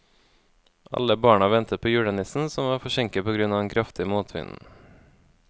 Alle barna ventet på julenissen, som var forsinket på grunn av den kraftige motvinden.